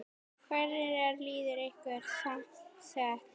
Hvernig er liðið ykkar samsett?